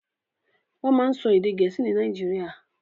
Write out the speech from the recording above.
Wọ́n máa ń sọ èdè Gẹ̀ẹ́sì ní Nàìjíríà.